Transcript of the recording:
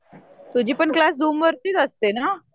तुझी पण क्लास झूमवरतीच असते ना?